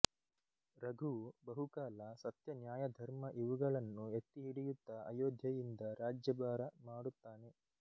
ರಘುವು ಬಹುಕಾಲ ಸತ್ಯನ್ಯಾಯಧರ್ಮ ಇವುಗಳನ್ನು ಎತ್ತಿಹಿಡಿಯುತ್ತಾ ಅಯೋಧ್ಯೆಯಿಂದ ರಾಜ್ಯಭಾರ ಮಾಡುತ್ತಾನೆ